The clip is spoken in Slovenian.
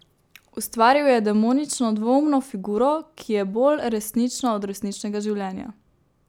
Ustvaril je demonično dvoumno figuro, ki je bolj resnična od resničnega življenja.